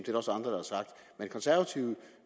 det konservative